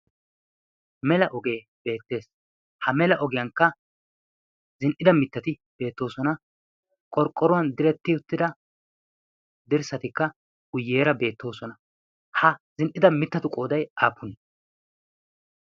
mela ogee beettees ha mela ogiyankka zin77ida mittati beettoosona qorqqoruwan diretti uttida dirssatikka guyyeera beettoosona ha zin77ida mittatu qoodai aafun